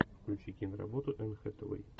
включи киноработу энн хэтэуэй